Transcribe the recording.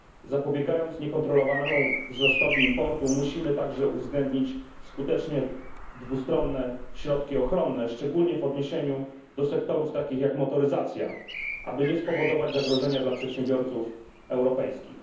Zapobiegając niekontrolowanemu wzrostowi importu, musimy także uwzględnić skutecznie dwustronne środki ochronne, szczególnie w odniesieniu do sektorów takich jak motoryzacja, aby nie spowodować zagrożenia dla przedsiębiorców europejskich.